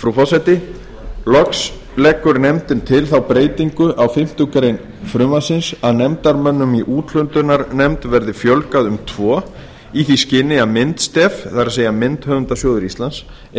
frú forseti loks leggur nefndin til þá breytingu á fimmtu grein frumvarpsins að nefndarmönnum í úthlutunarnefnd verði fjölgað um tvo í því skyni að myndstef